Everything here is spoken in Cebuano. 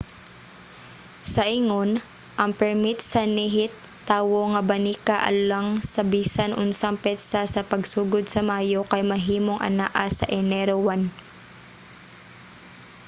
sa ingon ang permit sa nihit-tawo nga banika alang sa bisan unsang petsa sa pagsugod sa mayo kay mahimong anaa sa enero 1